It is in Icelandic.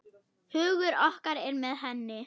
Hugur okkar er með henni.